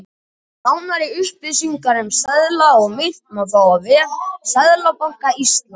Nánari upplýsingar um seðla og mynt má fá á vef Seðlabanka Íslands.